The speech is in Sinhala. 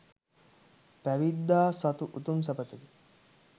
පැවිද්දා සතු උතුම් සැපතකි.